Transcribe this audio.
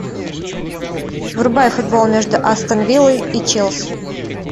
врубай футбол между астон виллой и челси